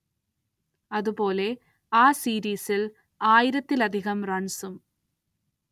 അതുപോലെ ആ സീരീസിൽ ആയിരത്തിലധികം റൺസും.